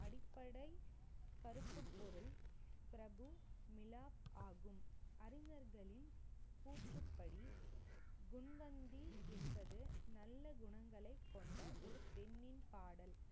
அடிப்படை பொருள் பிரபு, மிலா ஆகும். அறிஞர்களின் கூற்றுப்படி முன்வந்தி என்பது நல்ல குணங்களை கொண்ட ஒரு பெண்ணின் பாடல்